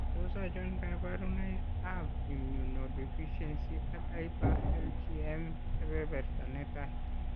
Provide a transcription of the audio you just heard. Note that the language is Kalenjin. Tos achon kabarunaik ab Immunodeficiency ak hyper IgM kebeberta netai